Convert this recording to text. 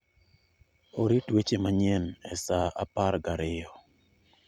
orit weche manyien e sa apar gariyo